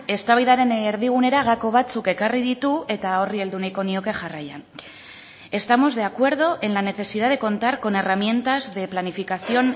eztabaidaren erdigunera gako batzuk ekarri ditu eta horri heldu nahiko nioke jarraian estamos de acuerdo en la necesidad de contar con herramientas de planificación